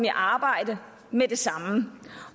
i arbejde med det samme